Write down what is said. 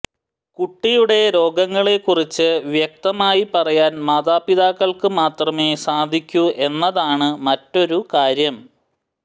കുട്ടിയുടെ രോഗങ്ങളെക്കുറിച്ച് വ്യക്തമായി പറയാൻ മാതാപിതാക്കൾക്ക് മാത്രമേ സാധിക്കൂ എന്നതാണ് മറ്റൊരു കാര്യം